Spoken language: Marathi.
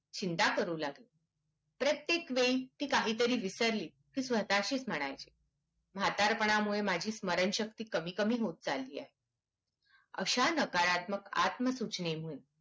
चिंता करू लागली प्रत्येक वेळी ती काहीतरी विसरली तर स्वतशीच म्हणायची म्हातारपणामुळे माझी स्मरण शक्ति कमी कमी होत चालली आहे अश्या नकारात्मक आत्मसूचने वरुन